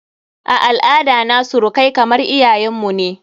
A al'ada na surukai kamar iyayen mu ne.